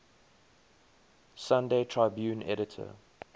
sunday tribune editor